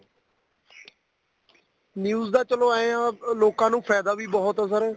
news ਦਾ ਚਲੋ ਏ ਆ ਲੋਕਾ ਨੂੰ ਫਾਇਦਾ ਵੀ ਬਹੁਤ ਆ sir